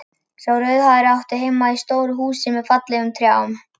Sá rauðhærði átti heima í stóru húsi með fallegum trjám.